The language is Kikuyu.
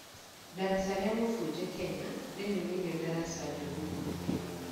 Daraca ria mfunje Kenya: rĩrĩ nĩrĩo ndaraca njũru mũno Kenya